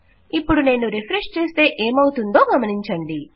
ఇపుడు నేను రిఫ్రెష్ చేస్తే ఏమవుతుందో గమనించండి